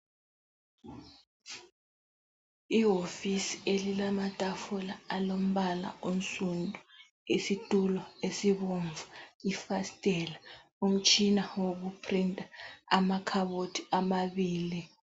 Iwofisi elilamatafula alombala onsundu, isitulo ezibomvu, ifasitela, umtshina wokuprinta, amakhabothi amabili.